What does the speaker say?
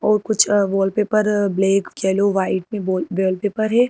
और कुछ अह वॉलपेपर ब्लैक येलो व्हाइट में बोल वॉलपेपर है।